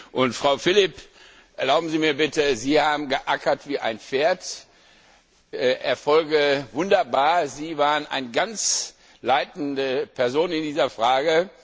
Und, Frau Philipp, erlauben Sie mir bitte, Sie haben geackert wie ein Pferd, Erfolge wunderbar, Sie waren eine ganz leitende Person in dieser Frage.